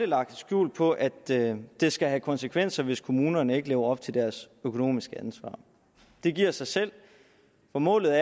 lagt skjul på at det det skal have konsekvenser hvis kommunerne ikke lever op til deres økonomiske ansvar det giver sig selv for målet